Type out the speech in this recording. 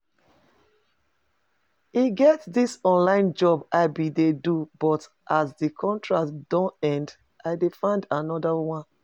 E get dis online job I bin dey do but as the contract don end I dey find another one